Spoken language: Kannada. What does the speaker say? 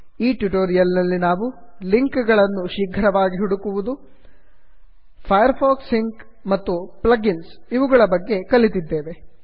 ಈ ಟ್ಯುಟೋರಿಯಲ್ ನಲ್ಲಿ ನಾವು ಲಿಂಕ್ ಗಳನ್ನು ಶೀಘ್ರವಾಗಿ ಹುಡುಕುವುದು ಫೈರ್ ಫಾಕ್ಸ್ ಸಿಂಕ್ ಮತ್ತು ಪ್ಲಗ್ ಇನ್ಸ್ ಇವುಗಳ ಬಗ್ಗೆ ಕಲಿತಿದ್ದೇವೆ